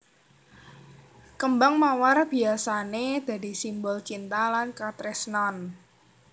Kêmbang mawar biyasané dadi simbol cinta lan katresnan